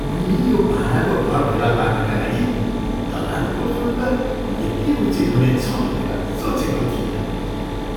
मैले यो भाडाको घर फेला पार्नका लागि दलालको शुल्क यति उचित हुनेछ भनेर सोचेको थिइनँ!